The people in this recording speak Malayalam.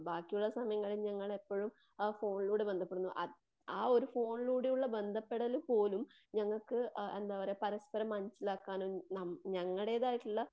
ബാക്കിയുള്ള സമയങ്ങളിൽ ഞങ്ങൾ എപ്പഴും ആ ഫോണിലൂടെ ബദ്ധപ്പെടുന്നു. ആ ഒരു ഫോണിലൂടെയുള്ള ബദ്ധപെടൽ പോലും ഞങ്ങൾക്ക് എന്തപറയുക പരസ്പരം മനസിലാക്കുവാനും ഞങ്ങളുടെതായിട്ടുള്ള